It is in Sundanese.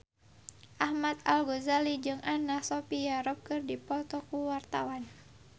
Ahmad Al-Ghazali jeung Anna Sophia Robb keur dipoto ku wartawan